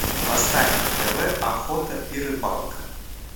поставь на тв охота и рыбалка